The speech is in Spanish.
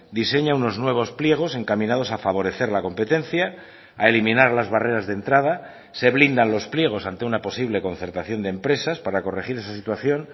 diseña unos nuevos pliegos encaminados a favorecer la competencia a eliminar las barreras de entrada se blindan los pliegos ante una posible concertación de empresas para corregir esa situación